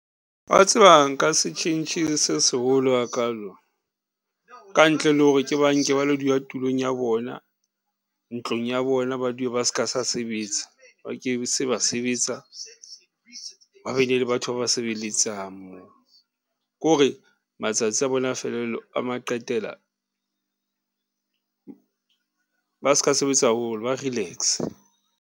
Wa tseba nka se tjhentjhe se seholo hakalo, ka ntle le hore ke ba nke ba lo dula tulong ya bona ntlong ya bona, ba dule ba ska sa sebetsa, ba ke se ba sebetsa, ba bene le batho ba ba sebeletsang moo. Ko re matsatsi a bona a felelo, a ma qetela, ba s'ka sebetsa haholo, ba relax-e.